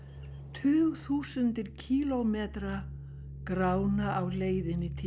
tugþúsundir kílómetra grána á leiðinni til